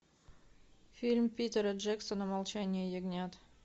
фильм питера джексона молчание ягнят